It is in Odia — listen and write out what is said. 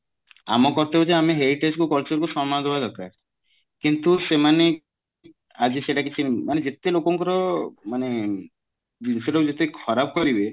ଆମ କର୍ତବ୍ୟ ଯେ ଆମ heritage କୁ culture କୁ ସମ୍ମାନ ଦବା ଦରକାର କିନ୍ତୁ ସେମାନେ ଆଜି ସେଟା କିଛି ମାନେ ଯେତେ ଲୋକଙ୍କର ମାନେ ଜିନିଷ ଟାକୁ ଯେତେ ଖରାପ କରିବେ